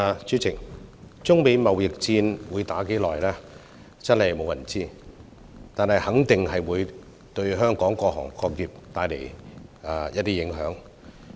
主席，中美貿易戰會持續多久真的無人知曉，但肯定會對香港各行各業帶來影響。